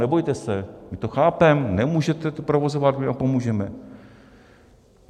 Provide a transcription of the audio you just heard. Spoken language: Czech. Nebojte se, my to chápeme, nemůžete to provozovat, my vám pomůžeme.